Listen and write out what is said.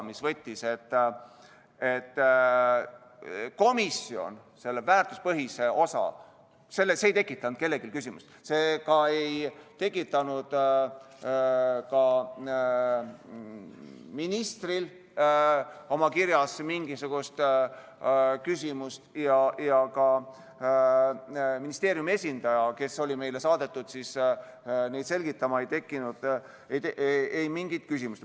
Komisjonis ei tekitanud see väärtuspõhine osa kellelgi küsimust, see ei tekitanud ka ministril tema kirjas mingisugust küsimust ja ka ministeeriumi esindajal, kes oli meile saadetud selgitama, ei tekitanud see mingit küsimust.